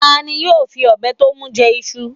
Ta ni yóò fi ọbẹ̀ tó nu jẹ iṣu